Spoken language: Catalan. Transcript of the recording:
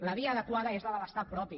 la via adequada és la de l’estat propi